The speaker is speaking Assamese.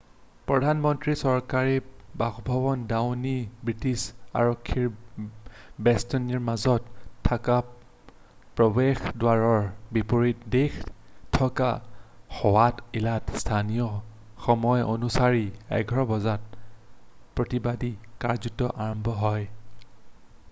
প্ৰধান মন্ত্ৰীৰ চৰকাৰী বাসভৱন ডাওনিং ষ্ট্ৰিটৰ আৰক্ষীৰ বেষ্টনীৰ মাজত থকা প্ৰৱেশদ্বাৰৰ বিপৰীত দিশে থকা হোৱাইট হলত স্থানীয় সময় অনুসৰি 11:00 বজাত utc+1 প্ৰতিবাদী কাৰ্যসূচী আৰম্ভ হয়।